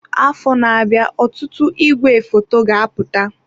Afọ na-abịa ọtụtụ igwefoto ga-apụta.